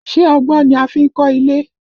Ṣé ọgbọ́n ni a fi n kọ́ ilé?